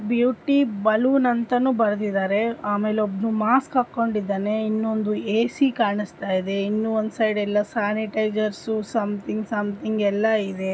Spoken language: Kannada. ಬ್ಯೂಟಿ ಬಲೂನ್ ಅಂತಾನೂ ಬರೆದಿದ್ದಾರೆಅಮೆಲ್ ಒಬ್ನು ಮಾಸ್ಕ್ ಹಾಕೊಂಡಿದ್ದನೆ ಇನ್ನೊಂದು ಎಸಿ ಕಾಣಿಸ್ತಯಿದೇ ಸ್ಯನಿತೈಸರ್ ಸಮ್ತಿಂಗ್ ಸಮ್ತಿಂಗ್ ಎಲ್ಲಾಯಿದೆ.